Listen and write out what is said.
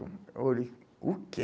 Eu olhei, o quê?